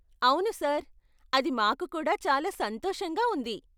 అవును సార్, అది మాకు కూడా చాలా సంతోషంగా ఉంది.